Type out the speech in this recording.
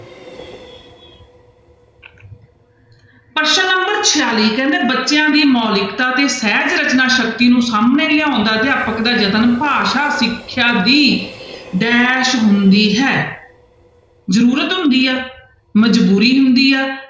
ਪ੍ਰਸ਼ਨ number ਛਿਆਲੀ ਕਹਿੰਦੇ ਬੱਚਿਆਂ ਦੀ ਮੋਲਿਕਤਾ ਤੇ ਸਹਿਜ ਰਚਨਾ ਸ਼ਕਤੀ ਨੂੰ ਸਾਹਮਣੇ ਲਿਆਉਣ ਦਾ ਅਧਿਆਪਕ ਦਾ ਯਤਨ ਭਾਸ਼ਾ, ਸਿੱਖਿਆ ਦੀ dash ਹੁੰਦੀ ਹੈ ਜ਼ਰੂਰਤ ਹੁੰਦੀ ਆ ਮਜ਼ਬੂਰੀ ਹੁੰਦੀ ਆ,